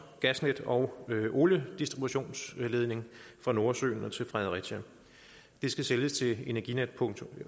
gasnet og oliedistributionsledning fra nordsøen til fredericia det skal sælges til energinetdk